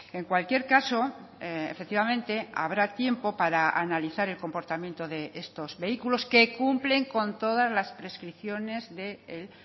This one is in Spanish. en cualquier caso efectivamente habrá tiempo para analizar el comportamiento de estos vehículos que cumplen con todas las prescripciones del